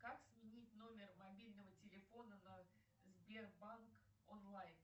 как сменить номер мобильного телефона на сбербанк онлайн